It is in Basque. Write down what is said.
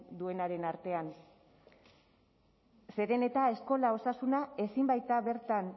duenaren artean zeren eta eskola osasuna ezin baita bertan